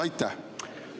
Aitäh!